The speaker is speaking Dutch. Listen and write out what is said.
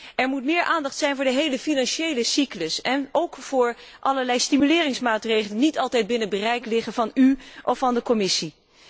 Er moet meer aandacht zijn voor de hele financiële cyclus en ook voor allerlei stimuleringsmaatregelen, die niet altijd binnen het bereik liggen van u of van de Commissie.